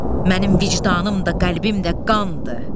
Mənim vicdanım da, qəlbim də qandır.